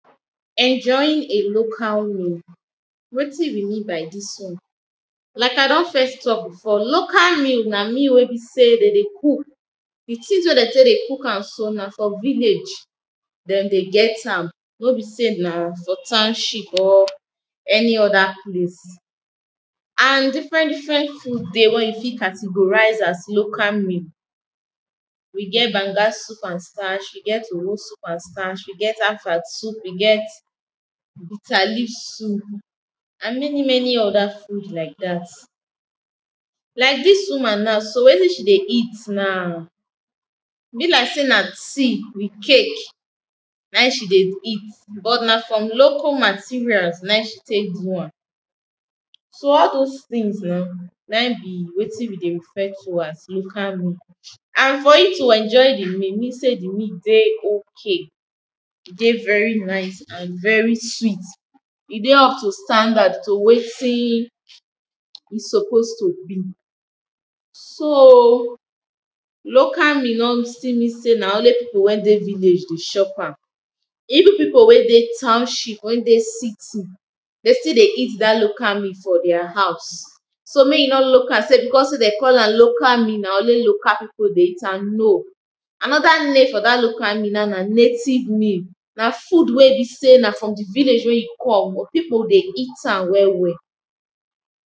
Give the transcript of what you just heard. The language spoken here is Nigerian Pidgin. enjoying a local meal wetin we mean by dis won? like i don first talk before, local meal na meal wen be say de dey cook di tins wey den tek dey cook am so na from village den dey get am no be sey na for townshil or any other place and different dofferent food dey wen you fit categorise as local meal. we get banger soup and stach, we get owo soup and stach, we get afang soup, we get bitterleaf soup and many many other soup like dat. like dis woman na so wetin she dey eat now be like sey na tea with cake nain she dey eat because na from locl materials nain she tek do am so all those tins eh nain be wetin we dey refer to as local meal. and for you to enjoy the meal, e mean sey di meal dey ok. e dey veri naice and very sweet. e dey up to standard to wetin e suppose to be. so local meal no still mean sey na only pipu wen dey village dey chop am. even pipu wen dey township wen dey city de still dey eat dat local meal for their house so mey you no look am sey becuse sey de call am local meal na only local pipu dey eat am no anoda name for dat local meal na na native name na food we i be sey na from di vilage wey you come pipu dey eat am well well